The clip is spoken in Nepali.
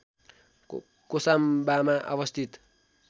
कोसाम्बामा अवस्थित